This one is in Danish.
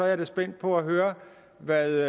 jeg spændt på at høre hvad